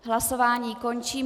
Hlasování končím.